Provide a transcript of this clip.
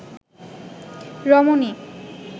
রমণী